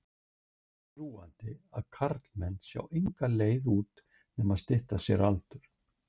Oft er þöggunin svo þrúgandi að karlmenn sjá enga leið út nema stytta sér aldur.